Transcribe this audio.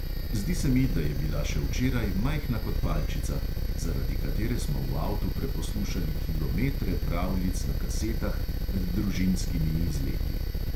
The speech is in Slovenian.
Zdi se mi, da je bila še včeraj majhna kot palčica, zaradi katere smo v avtu preposlušali kilometre pravljic na kasetah med družinskimi izleti.